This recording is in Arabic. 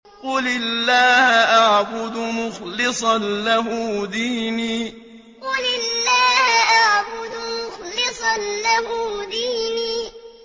قُلِ اللَّهَ أَعْبُدُ مُخْلِصًا لَّهُ دِينِي قُلِ اللَّهَ أَعْبُدُ مُخْلِصًا لَّهُ دِينِي